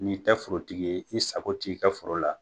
N'i tɛ forotigi ye, i sago t'i ka foro la.